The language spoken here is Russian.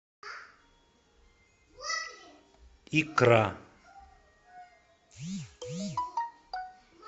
икра